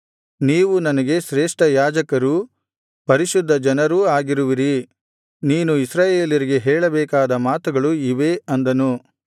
ನೀವು ನನಗೆ ಶ್ರೇಷ್ಠ ಯಾಜಕರೂ ಪರಿಶುದ್ಧ ಜನರೂ ಆಗಿರುವಿರಿ ನೀನು ಇಸ್ರಾಯೇಲರಿಗೆ ಹೇಳಬೇಕಾದ ಮಾತುಗಳು ಇವೇ ಅಂದನು